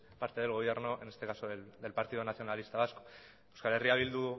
parte del gobierno en este caso del partido nacionalista vasco euskal herria bildu